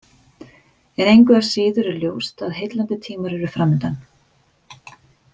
En engu að síður er ljóst að heillandi tímar eru framundan.